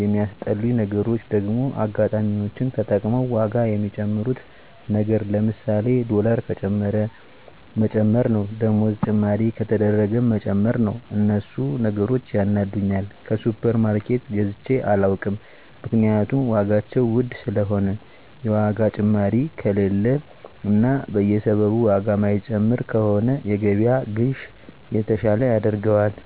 የሚያስጠሉኝ ነገሮች ደግሞ አጋጣሚወችን ተጠቅመዉ ዋጋ ሚጨምሩት ነገር ለምሳሌ ዶላር ከጨመረ መጨመር ነዉ ደሞዝ ጭማሪ ከተደረገም መጨመር ነዉ እነሱ ነገሮች ያናዱኛል ከሱፐር ማርኬት ገዝቸ አላዉቅም ምክንያቱም ዋጋቸዉ ዉድ ስለሆነ የዋጋ ጭማሪ ከሌለ እና በየሰበቡ ዋጋ ማይጨምር ከሆነ የገበያን ግዥ የተሻለ ያደርገዋል